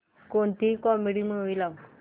कोणतीही comedy movie लाव